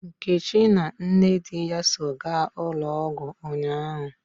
Nkechi na nne di ya so gaa ụlọ ọgwụ ụnyaahụ.